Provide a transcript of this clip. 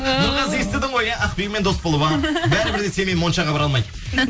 нұрғазы естідің ғой иә ақбибімен дос болма бәрібір де сенімен моншаға бара алмайды